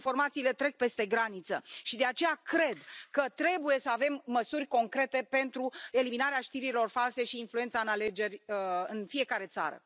Informațiile trec peste graniță și de aceea cred că trebuie să avem măsuri concrete pentru eliminarea știrilor false și influența în alegeri în fiecare țară.